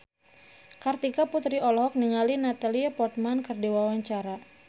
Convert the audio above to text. Kartika Putri olohok ningali Natalie Portman keur diwawancara